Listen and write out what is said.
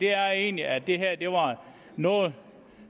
er egentlig at det her var noget